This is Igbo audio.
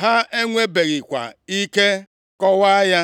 ha enwebeghịkwa ike kọwaa ya.